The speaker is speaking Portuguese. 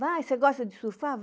Vai, você gosta de surfar?